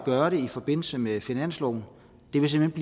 gøre det i forbindelse med finansloven ville simpelt